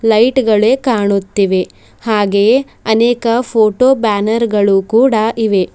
Light ಗಳೇ ಕಾಣುತ್ತಿವೆ ಹಾಗೆಯೇ ಅನೇಕ ಫೋಟೋ ಬ್ಯಾನರ್ ಗಳು ಕೂಡ ಇವೆ.